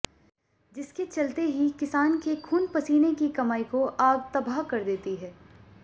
जिसके चलते ही किसान के खून पसीने की कमाई को आग तबाह कर देती है